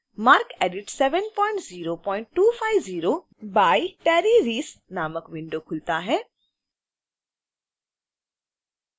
marcedit 70250 by terry reese नामक window खुलता है